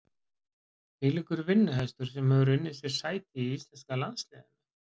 Þvílíkur vinnuhestur sem hefur unnið sér sæti í íslenska landsliðinu.